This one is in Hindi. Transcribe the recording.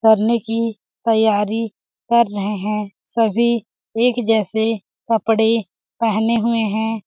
करने की तैयारी कर रहे है। सभी एक जैसे कपड़े पहने हुए है।